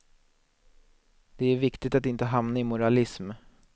Det är viktigt att inte hamna i moralism.